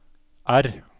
R